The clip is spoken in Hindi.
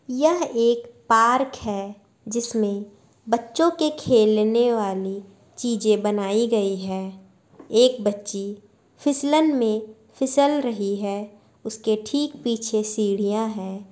यह एक पार्क है जिसमे बच्चों के खेलने वाली चीजे बनायीं गयी है एक बच्ची फिसलन में फिसल रही है उसके ठीक पिछे सीढियाँ है।